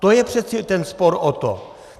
To je přece ten spor o to!